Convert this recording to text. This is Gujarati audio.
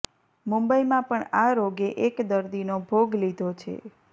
મુંબઈમાં પણ આ રોગે એક દર્દીનો ભોગ લીધો છે